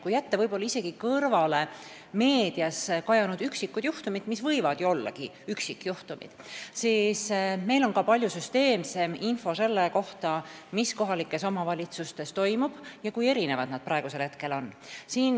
Kui jätta isegi kõrvale meedias kajanud üksikud juhtumid, mis võivad ju ollagi üksikjuhtumid, siis meil on ka palju süsteemsem info selle kohta, mis kohalikes omavalitsustes toimub ja kui erinevad nad praegu on.